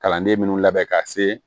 Kalanden minnu labɛn ka se